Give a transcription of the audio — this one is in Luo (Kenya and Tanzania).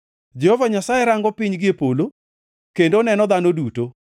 Jehova Nyasaye rango piny gie polo kendo oneno dhano duto;